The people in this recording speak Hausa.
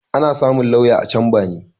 Ana samun lauya a camba ne